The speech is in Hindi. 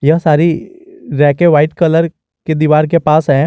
यह सारी रैके व्हाइट कलर के दीवार के पास हैं।